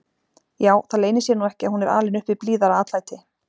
Já, það leynir sér nú ekki að hún er alin upp við blíðara atlæti.